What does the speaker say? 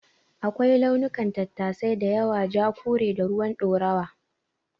Akwai launukan tattasai da yawa; Ja, kore, da ruwan ɗorawa.